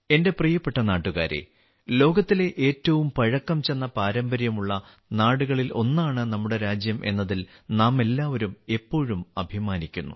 എന്റെ പ്രിയപ്പെട്ട നാട്ടുകാരേ ലോകത്തിലെ ഏറ്റവും പഴക്കം ചെന്ന പാരമ്പര്യമുള്ള നാടുകളിൽ ഒന്നാണ് നമ്മുടെ രാജ്യം എന്നതിൽ നാമെല്ലാവരും എപ്പോഴും അഭിമാനിക്കുന്നു